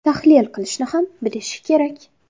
tahlil qilishni ham bilishi kerak.